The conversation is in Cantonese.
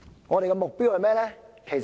我們的目標是甚麼？